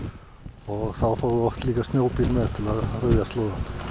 og þá fáum við oft snjóbíl með til að ryðja slóðann